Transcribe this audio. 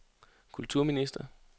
kulturminister